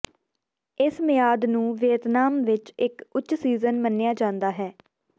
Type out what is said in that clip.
ਇਸ ਮਿਆਦ ਨੂੰ ਵੀਅਤਨਾਮ ਵਿੱਚ ਇੱਕ ਉੱਚ ਸੀਜ਼ਨ ਮੰਨਿਆ ਜਾਂਦਾ ਹੈ